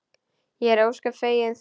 Ég er ósköp fegin því.